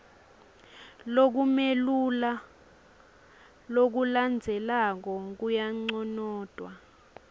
lokumelula lokulandzelako kuyanconotwa